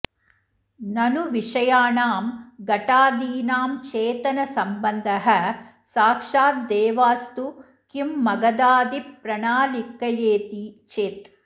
ननु विषयाणां घटादीनां चेतनसम्बन्धः साक्षादेवास्तु किं महदादिप्रणालिकयेति चेत्